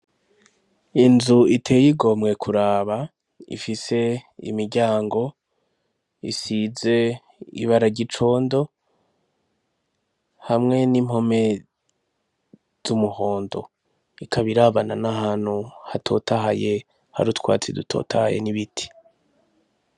Inzu iteye igomwe kuraba ifise imiryango isize ibaragicondo hamwe n'impome z'umuhondo ikabirabana nahantu hatotahaye hari utwasi dutotahaye n'ibiti.